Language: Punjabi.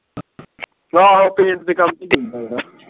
paint ਦੇ ਕੱਮ ਹੀ ਨਹੀਂ ਹੁੰਦਾ ਗਾ